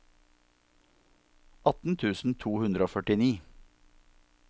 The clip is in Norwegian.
atten tusen to hundre og førtini